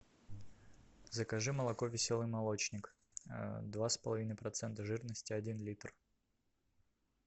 закажи молоко веселый молочник два с половиной процента жирности один литр